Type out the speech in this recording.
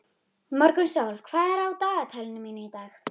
Morgunsól, hvað er á dagatalinu mínu í dag?